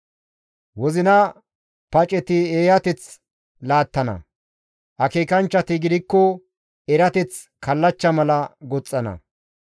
Wozina paceti eeyateth laattana; akeekanchchati gidikko erateth kallachcha mala goxxana.